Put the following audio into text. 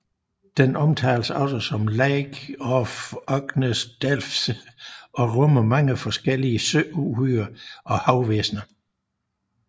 Den omtales også som Lake of Unknown Depths og rummer mange forskellige søuhyrer og havvæsner